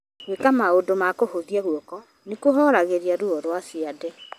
Gwĩka maũndũ ma kũhũthia guoko nĩ kũhooragĩria ruo rwa ciande.